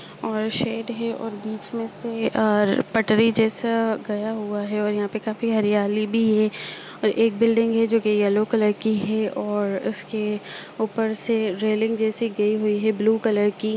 और शेड है और बीच मे से और पटरी जैसा गया हुआ है और यहाँ पे काफी हरयाली भी है और एक बिल्डिंग है जो कि येलो कलर की है और उसके ऊपर से रेलिंग जैसी गई हुई है ब्लू कलर की।